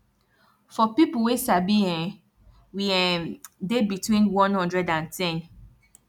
for people wey sabi[um]we um dey between one hundred and ten